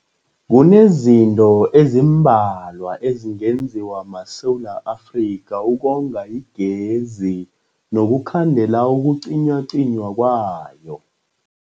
Kunezinto ezimbalwa ezingenziwa maSewula Afrika ukonga igezi nokukhandela ukucinywacinywa kwayo.